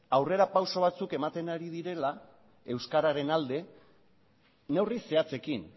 aurrera pausu batzuk ematen ari direla euskararen alde neurri zehatzekin